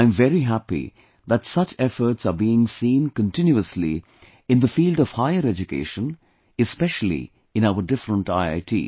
I am very happy that such efforts are being seen continuously in the field of higher education especially in our different IITs